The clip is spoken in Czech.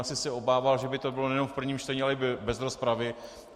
Asi se obával, že by to bylo nejenom v prvním čtení, ale i bez rozpravy.